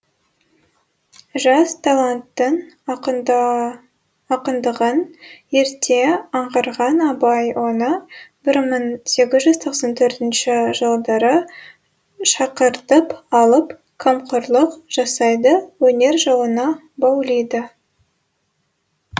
жас таланттың ақындығын ерте аңғарған абай оны бір мың сегіз жүз тоқсан төртінші жылдары шақыртып алып қамқорлық жасайды өнер жолына баулиды